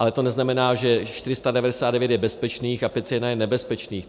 Ale to neznamená, že 499 je bezpečných a 501 je nebezpečných.